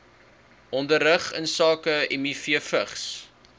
onderrig insake mivvigs